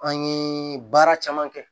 An ye baara caman kɛ